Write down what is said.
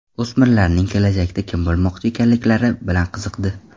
O‘smirlarning kelajakda kim bo‘lmoqchi ekanliklari bilan qiziqdi.